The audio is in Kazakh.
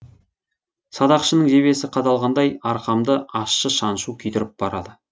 садақшының жебесі қадалғандай арқамды ащы шаншу күйдіріп барады